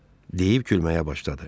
Deyib gülməyə başladı aşpaz.